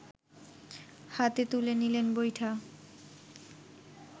হাতে তুলে নিলেন বৈঠা